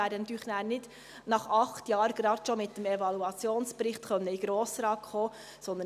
Wir werden nachher natürlich nicht nach acht Jahren schon mit dem Evaluationsbericht in den Grossen Rat kommen können.